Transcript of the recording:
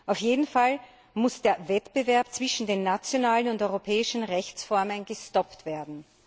Auf jeden Fall muss der Wettbewerb zwischen nationalen und europäischen Rechtsformen gestoppt werden.